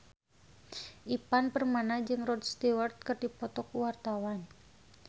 Ivan Permana jeung Rod Stewart keur dipoto ku wartawan